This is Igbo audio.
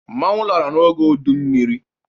Mmọnwụ lara n'oge udu mmiri.